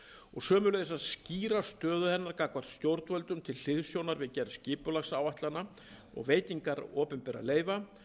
og sömuleiðis að skýra stöðu hennar gagnvart stjórnvöldum til hliðsjónar við gerð skipulagsáætlana og veitingar opinberra leyfa